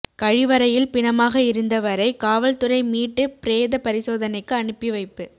கழிவறையில் பிணமாக இருந்தவரை காவல்துறை மீட்டு பிரேத பரிசோதனைக்கு அனுப்பி வைப்பு